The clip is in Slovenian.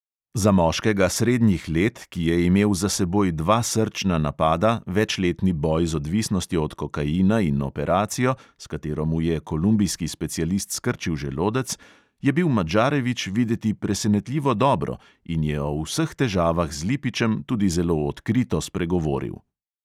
Za moškega srednjih let, ki je imel za seboj dva srčna napada, večletni boj z odvisnostjo od kokaina in operacijo, s katero mu je kolumbijski specialist skrčil želodec, je bil madžarevič videti presenetljivo dobro in je o vseh težavah z lipičem tudi zelo odkrito spregovoril.